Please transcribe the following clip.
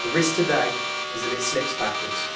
The risk today is that it slips backwards.